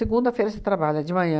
você trabalha de manhã.